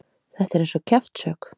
Þetta er eins og kjaftshögg.